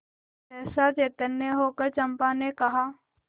सहसा चैतन्य होकर चंपा ने कहा